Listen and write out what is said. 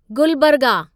Gulbarga